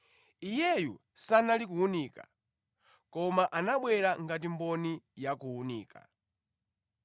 Iyeyu sanali kuwunika; koma anabwera ngati mboni ya kuwunika.